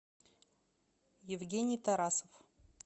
евгений тарасов